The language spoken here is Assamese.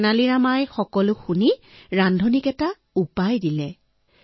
তেনালী ৰামে সকলোবোৰ শুনি ৰান্ধনিক এটা উপায় দিলে